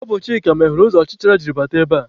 Ọ bụ Chika meghere ụzọ ọchịcha jiri bata ebe a.